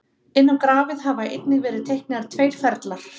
inn á grafið hafa einnig verið teiknaðir tveir ferlar